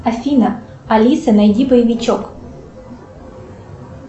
афина алиса найди боевичок